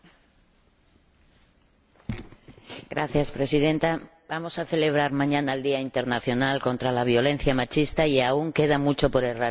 Señora Presidenta, vamos a celebrar mañana el Día Internacional contra la Violencia Machista y aún queda mucho para erradicar ese machismo de la sociedad.